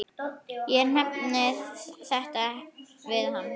Ég nefndi þetta við hann.